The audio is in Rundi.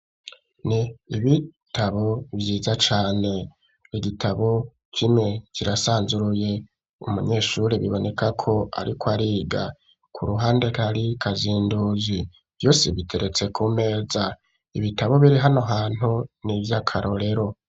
Ni ibitabo vyiza cane igitabo kimwe kirasanzuruye umunyeshuri biboneka ko, ariko ariga ku ruhande rari kazindozi vyo sibiteretse ku meza ibitabo biri hano hantu ni ivyo akarorero.